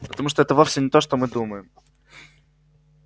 потому что это вовсе не то что мы думаем